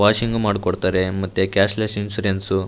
Washings ಮಾಡ್ಕೊಡ್ತಾರೆ ಮತ್ತು cashless insurance .